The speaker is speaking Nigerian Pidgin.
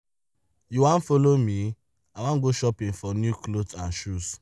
you wan follow me? i wan go shopping for new cloths and shoes.